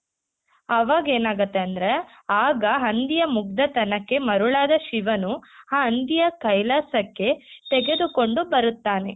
ಅವಗೇನಾಗತ್ತೆ ಅಂದ್ರೆ ಆಗ ಹಂದಿಯ ಮುಗ್ಧ ತನಕ್ಕೆ ಮರುಳಾದ ಶಿವನು ಆ ಹಂದಿಯ ಕೈಲಾಸಕ್ಕೆ ತೆಗೆದುಕೊಂಡು ಬರುತ್ತಾನೆ.